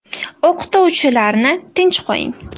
O‘qituvchilarni tinch qo‘ying.